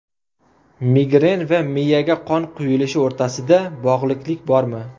Migren va miyaga qon quyilishi o‘rtasida bog‘liqlik bormi?